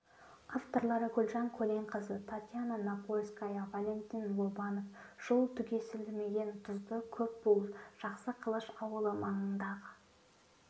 авторлары гүлжан көленқызы татьяна напольская валентин лобанов жыл түгесілмеген тұзды көл бұл жақсықылыш ауылы маңындағы ақ